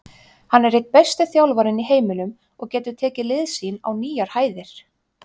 Hann er einn besti þjálfarinn í heiminum og getur tekið lið sín á nýjar hæðir.